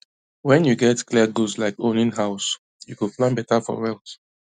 when you get clear goals like owning house you go plan better for wealth